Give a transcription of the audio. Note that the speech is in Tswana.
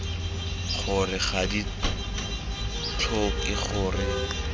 gore ga di tlhoke gore